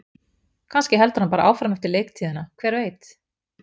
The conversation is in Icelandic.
Kannski heldur hann áfram eftir leiktíðina, hver veit?